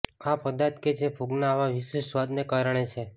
આ પદાર્થ કે જે ફૂગના આવા વિશિષ્ટ સ્વાદને કારણે છે